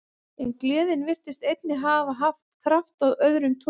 En gleðin virtist einnig hafa haft kraft af öðrum toga.